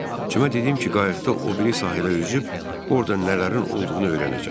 Cimə dedim ki, qayıqda o biri sahilə üzüb orda nələrin olduğunu öyrənəcəm.